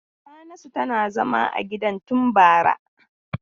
Yahanasu tana zama a gidan tun bara.